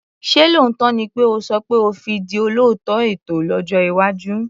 Ṣé lóòótọ́ ni pé o sọ pé o fi di olóòtú ètò lójọ́ iwájú?